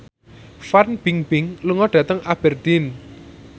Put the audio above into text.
Fan Bingbing lunga dhateng Aberdeen